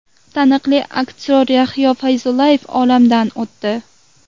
Taniqli aktyor Yahyo Fayzullayev olamdan o‘tdi.